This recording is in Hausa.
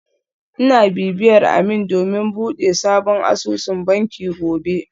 Ina bibiyar Ameer domin bude sabon asusun banki gobe